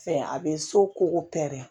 Fɛn a bɛ so ko